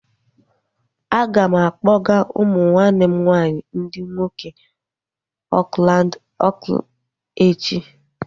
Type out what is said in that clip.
A ga m akpọga umu nwanne m nwaanyị ndị nwoke Oakland echi